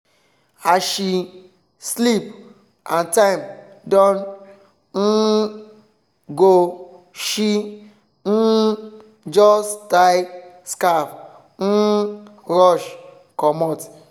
as she sleep and time don um go she um just tie scarf um rush comot.